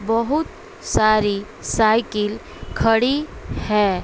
बहुत सारी साइकिल खड़ी है।